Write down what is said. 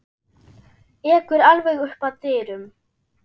Ekur alveg upp að dyrum.